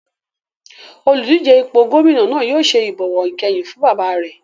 Oludije fún ipò gómìnà náà yóò ṣe ìbọ̀wọ̀ ìkẹyìn fún bàbá rẹ̀